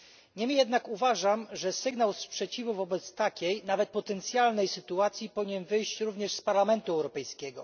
Nie mniej jednak uważam, że sygnał sprzeciwu wobec takiej nawet potencjalnej sytuacji powinien wyjść również z Parlamentu Europejskiego.